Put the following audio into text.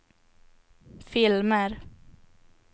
filmer